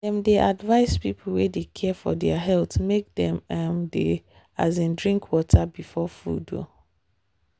dem dey advise people wey dey care for health make dem um dey um drink water before food. um